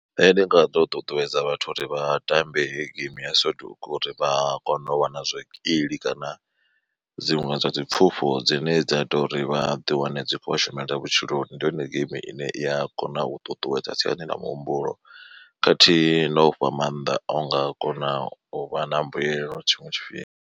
Nṋe ndi nga to ṱuṱuwedza vhathu uri vha tambe hei game ya soduku uri vha kone u wana zwikili kana dziṅwe dza dzi pfhufho dzine dza tori vha ḓi wane dzi khou shumela vhutshiloni. Ndi yone geimi ine iya kona u ṱuṱuwedza siani ḽa muhumbulo khathihi na u fha maanḓa o nga kona uvha na mbuyelo tshiṅwe tshifhinga.